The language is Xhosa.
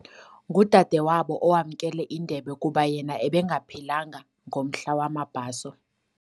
Ngudadewabo owamkele indebe kuba yena ebengaphilanga ngomhla wamabhaso.